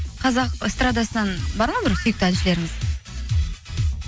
қазақ эстрадасынан бар ма бір сүйікті әншілеріңіз